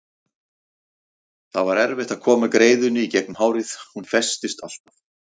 Það var erfitt að koma greiðunni í gegnum hárið, hún festist alltaf.